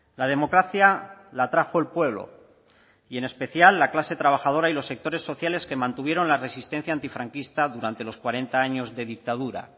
la democracia la trajo el pueblo y en especial la clase trabajadora y los sectores sociales que mantuvieron la resistencia antifranquista durante los cuarenta años de dictadura